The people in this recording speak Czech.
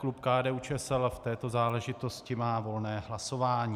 Klub KDU-ČSL v této záležitosti má volné hlasování.